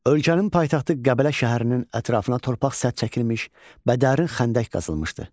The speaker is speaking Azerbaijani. Ölkənin paytaxtı Qəbələ şəhərinin ətrafına torpaq sədd çəkilmiş və dərin xəndək qazılmışdı.